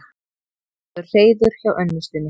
Hann hefur hreiður hjá unnustunni.